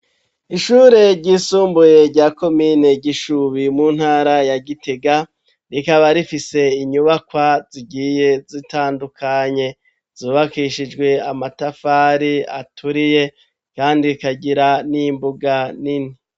Ishure ryisumbuye rya ko mine gishubi mu ntara ya gitega rikaba rifise inyubakwa zigiye zitandukanye zubakishijwe amatafari aturiye, kandi ikagira n'imbuga nini.